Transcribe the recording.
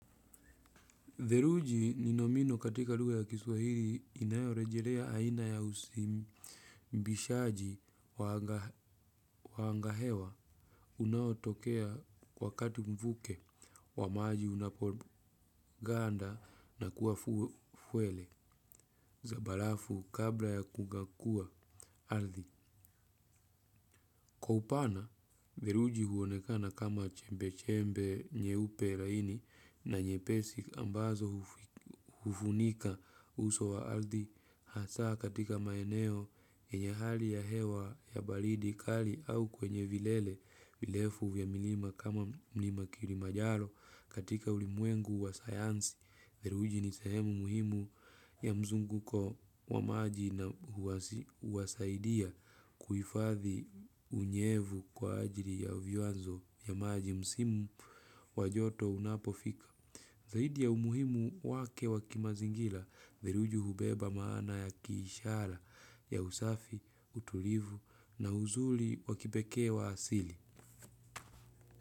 Theluji ni nomino katika lugha ya kiswahili inayorejelea aina ya uzimbishaji wa wa anga hewa unaotokea wakati mvuke wa maji unapoganda na kuwa fuele za barafu kabla ya kugakua ardhi. Kwa upana, theluji huonekana kama chembe-chembe nyeupe laini na nyepesi ambazo hufunika uso wa ardhi hasa katika maeneo yenye hali ya hewa ya baridi kali au kwenye vilele virefu vya milima kama mlima kilimajaro katika ulimwengu wa sayansi. Theluji ni sehemu muhimu ya mzunguko wa maji na huwasaidia kuhifathi unyevu kwa ajili ya vyanzo vya maji msimu wa joto unapofika. Zaidi ya umuhimu wake wa kimazingira, theluji hubeba maana ya kiishara, ya usafi, utulivu na uzuri wa kipekee wa asili.